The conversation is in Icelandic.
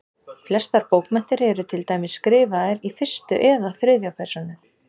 Flestar bókmenntir eru til dæmis skrifaðar í fyrstu eða þriðju persónu.